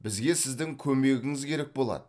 бізге сіздің көмегіңіз керек болады